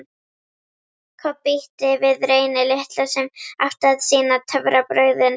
Kobbi ýtti við Reyni litla, sem átti að sýna töfrabrögðin.